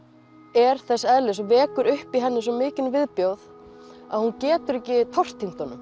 er þess eðlis og vekur upp í henni svo mikinn viðbjóð að hún getur ekki tortímt honum